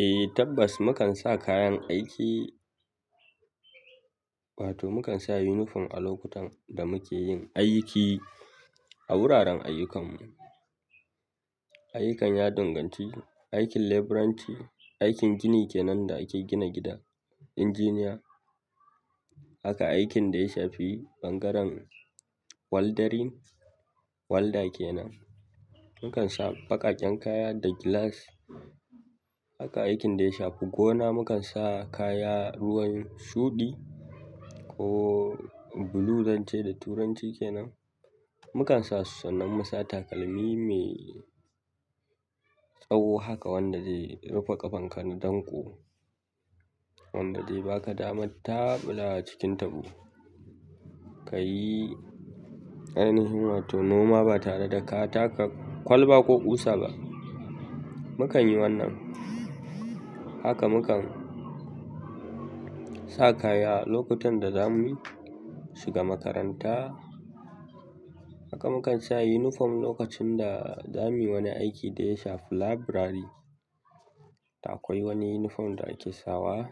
Eh tabbas, mukan sa kayan aiki, wato mukan sa yunifom a lokutan da muke yin aiki a wuraren ayyukanmu. Ayyukan ya danganci, aikin leburanci, aikin gini kenan da ake gina gida, injiniya. Haka aikin da ya shafi ɓangaren walderin, walda kenan, mukan sa baƙaƙen kaya da gilas. Haka aikin da ya shafi gona mukan sa kaya ruwan shuɗi ko bulu zan ce da turanci kenan. Mukan sasu sannan musa takalmi mai tsawo haka wanda zai rufe ƙafanka na danko, wanda zai baka daman taɓulawa cikin taɓo. Kayi ainihin wato noma ba tare da ka taka kwalba ko ƙusa ba. Mukan yi wannan. Haka mukan sa kaya lokutan da zamu shiga makaranta. Haka mukan sa yunifom lokacin da zamuyi wani aiki da ya shafi labirari. Da akwai wani yunifom da ake sawa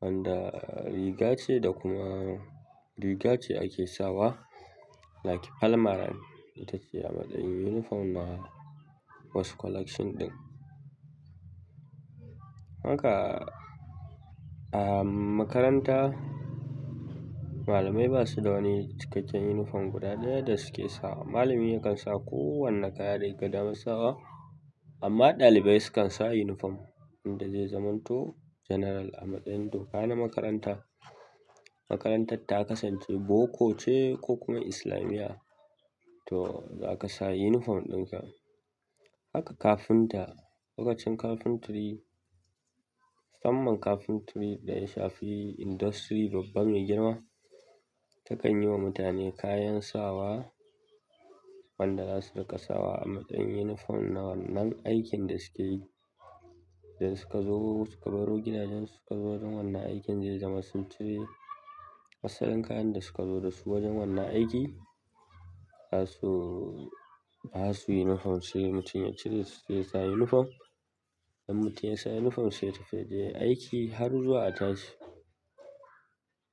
wanda riga ce da kuma riga ce ake sawa, like palmaran ita ce a matsayin yunifom na wasu collection ɗin. Haka a makaranta malamai basu da wani cikakken yunifom guda ɗaya da suke sawa. Malami yakan sa ko wanne kaya dake daman sawa amma ɗalibai sukan sa yunifom wanda zai zamanto general a matsayin doka na makaranta. Makarantar ta kasance boko ce ko kuma islamiya to zaka sa yunifom ɗin sa. Haka kafinta lokacin capentery musamman capentry da ya shafi industry babba mai girma, takan yiwa mutane kayan sawa wanda zasu riƙa sawa a matsayin unifom na wannan aikin da suke yi dan suka zo suka baro gidajen su suka zo don wannan aikin zai zama sun cire asalin kayan da suka zo da su wajen wannan aiki. Za su, za su yi yunifom sai mutum ya cire su zai sa yunifom. Idan mutun yasa yunifom sai yatafi yayi aiki har zuwa a tashi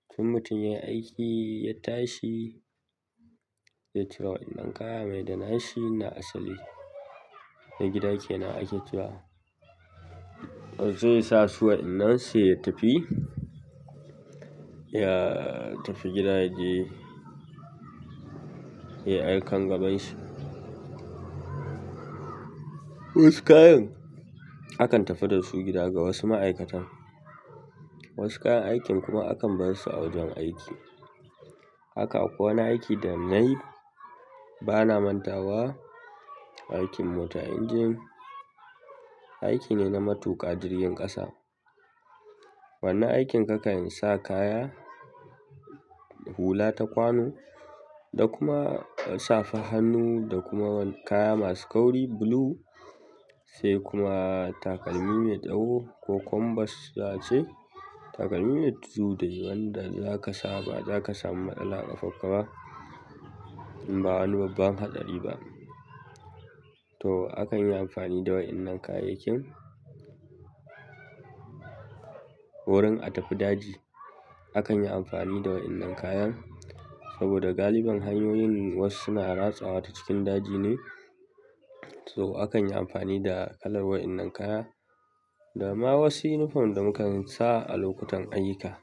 to in mutum yayi aiki ya tashi zai cire waɗannan kaya mai da nashi na asali. Mai gida kenan ake cewa. Zai sa su waɗannan sai ya tafi, ya tafi gida yaje ya yi aikan gabanshi. Wasu kayan akan tafi da su gida ga wasu ma'aikatan. Wasu kayan aikin kuma akan barsu a wajen aiki. Haka a kowane aiki da nayi bana mantawa aikin mota injin. Aiki ne na matuƙa jirgin ƙasa. Wannan aikin kakan sa kaya hula ta kwano, da kuma safar hannu, da kuma kaya masu kauri bulu, sai kuma takalmi mai tsawo, ko combas za a ce takalmi mai tudu da yi wanda zaka sa ba za ka samu matsala ƙafanka ba in ba wani babban hatsari ba. To akan yi amfani da waɗannan kayayyakin wurin a tafi daji. Akan yi amfani da waɗannan kayan saboda galibin hanyoyin wasu suna ratsawa ta cikin daji ne. To akan yi amfani da kalar waɗannan kaya, da ma wasu yunifom da mukan sa a lokutan aiyuka.